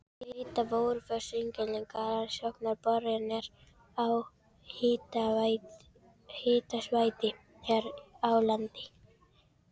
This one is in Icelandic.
Þetta voru fyrstu eiginlegar rannsóknarboranir á háhitasvæði hér á landi.